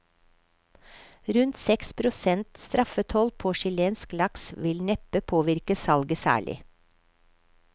Rundt seks prosent straffetoll på chilensk laks vil neppe påvirke salget særlig.